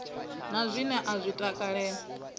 na zwine a zwi takalela